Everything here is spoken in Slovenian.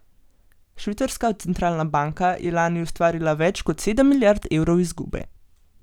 Švicarska centralna banka je lani ustvarila več kot sedem milijard evrov izgube.